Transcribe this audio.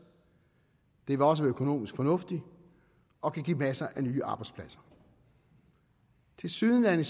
det vil også være økonomisk fornuftigt og kan give masser af nye arbejdspladser tilsyneladende